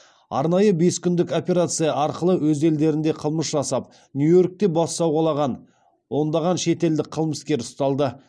арнайы бес күндік операция арқылы өз елдерінде қылмыс жасап нью йоркте бас сауғалаған ондаған шетелдік қылмыскер ұсталды